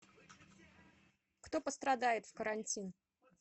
кто пострадает в карантин